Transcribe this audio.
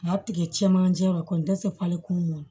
A y'a tigɛ cɛmancɛ la kɔni tɛ se falen ma